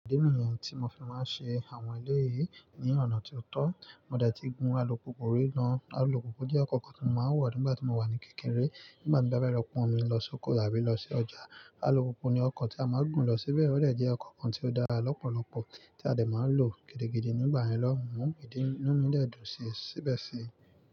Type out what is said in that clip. Ìdí nìyẹn tí mo fi máa ń ṣe àwọn eléyi ní ọ̀nà tí ó tọ́. Mo dẹ̀ ti gún alùpùpù rí gán. Alùpùpù jẹ́ ọkọ̀ kan tí mo máa ń wo nígbà tí mo wà ní kékeré. Nígbà tí n bá fẹ́ lọ pọ̀n mi lọ sóko tàbí lọ sí ọjà, alùpùpù ni ọkọ̀ tí a máa ń gùn lọ síbẹ̀. Ó dẹ̀ jẹ́ ọkọ̀ kan tí ó dára lọ́pọ̀lọpọ̀ tí a dẹ̀ máa ń lò gidigidi nígbà yẹn lọ́hùn-ún. Ìdí nì-- inú mi dẹ̀ dùn síi, síbẹ̀ síi.